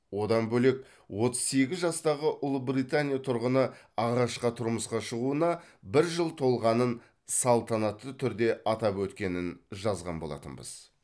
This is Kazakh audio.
одан бөлек отыз сегіз жастағы ұлыбритания тұрғыны ағашқа тұрмысқа шығуына бір жыл толғанын салтанатты түрде атап өткенін жазған болатынбыз